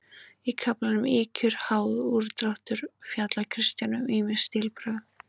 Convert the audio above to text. Í kaflanum Ýkjur, háð, úrdráttur fjallar Kristján um ýmis stílbrögð.